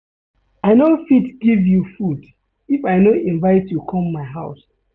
I no fit give you food if I no invite you come my house.